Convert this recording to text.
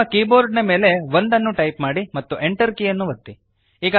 ನಿಮ್ಮ ಕೀಬೋರ್ಡ್ನ ಮೇಲೆ 1 ಅನ್ನು ಟೈಪ್ ಮಾಡಿರಿ ಮತ್ತು Enter ಕೀಯನ್ನು ಒತ್ತಿರಿ